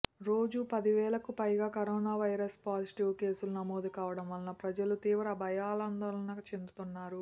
రోజు పది వేలకు పైగా కరోనా వైరస్ పాజిటివ్ కేసులు నమోదు కావడం పట్ల ప్రజలు తీవ్ర భయాందోళన చెందుతున్నారు